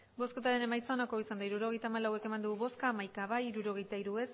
hirurogeita hamalau eman dugu bozka hamaika bai hirurogeita hiru